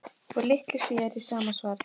Og litlu síðar í sama svari